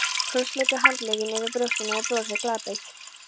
Krossleggur handleggina yfir brjóstunum og brosir glaðbeitt.